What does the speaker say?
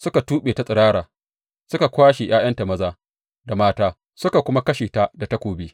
Suka tuɓe ta tsirara, suka kwashe ’ya’yanta maza da mata suka kuma kashe ta da takobi.